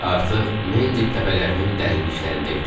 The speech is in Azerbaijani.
Artıq Mendib təpələrinin dərinliklərində idik.